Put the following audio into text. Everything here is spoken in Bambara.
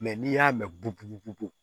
Mɛ n'i y'a mɛn bugubugu